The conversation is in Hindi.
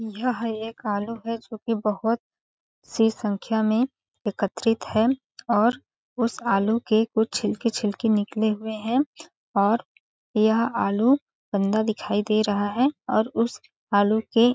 यह एक आलू है जो की बहोत सी संख्या में एकत्रित है और उस आलू के कुछ छिलके-छिलके निकले हुए है और यह आलू गन्दा दिखाई दे रहा है और उस आलू के--